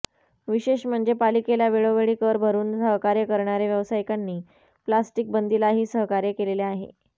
विशेष म्हणजे पालिकेला वेळोवेळी कर भरून सहकार्य करणाऱया व्यावसायिकांनी प्लास्टिक बंदीलाही सहकार्य केलेले आहे